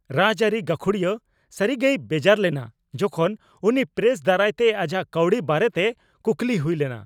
ᱨᱟᱡᱽ ᱟᱹᱨᱤ ᱜᱟᱹᱠᱷᱩᱲᱤᱭᱟᱹ ᱥᱟᱹᱨᱤᱜᱮᱭ ᱵᱮᱡᱟᱨ ᱞᱮᱱᱟ ᱡᱚᱠᱷᱚᱱ ᱩᱱᱤ ᱯᱨᱮᱥ ᱫᱟᱨᱟᱭᱛᱮ ᱟᱡᱟᱜ ᱠᱟᱹᱣᱰᱤ ᱵᱟᱨᱮᱛᱮ ᱠᱩᱠᱞᱤ ᱦᱩᱭ ᱞᱮᱱᱟ ᱾